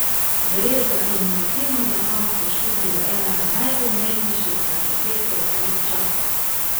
Gre za inovativno mehansko študijo enega najpomembnejših arhitektov vseh časov.